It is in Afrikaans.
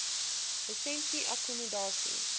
lisensie akkommodasie